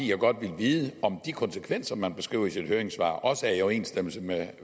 jeg godt ville vide om de konsekvenser man beskriver i sit høringssvar også er i overensstemmelse med